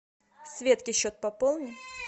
светке счет пополни